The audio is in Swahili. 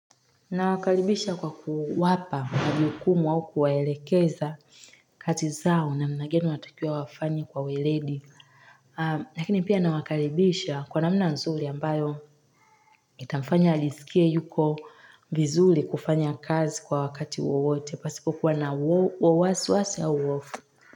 Nawakaribisha kwa kuwapa majukumu au kuwaelekeza kati zao naana gani wanatakiwa wafanye kwa weledi. Lakini pia nawakaribisha kwa namna nzuri ambayo itamfanya alijisikie yuko vizuri kufanya kazi kwa wakati wowote o pasipo kuwa na wasiwasi ya uwofu.